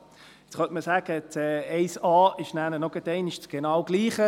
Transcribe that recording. Nun könnte man sagen, 1a sei gerade noch einmal genau dasselbe.